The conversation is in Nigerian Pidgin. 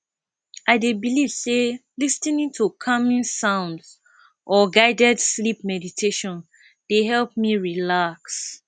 i dey believe say lis ten ing to calming sounds or guided sleep meditation dey help me relax